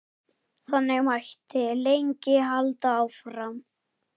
Þannig mætti lengi halda áfram.